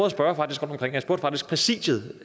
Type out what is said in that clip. at spørge rundtomkring og jeg faktisk præsidiet